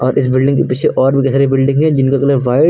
इस बिल्डिंग के पीछे और भी दिख रही है बिल्डिंगे जिनका कलर व्हाइट --